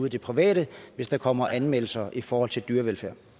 i det private hvis der kommer anmeldelser i forhold til dyrevelfærd